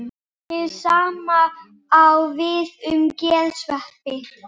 Hið sama á við um gersveppi.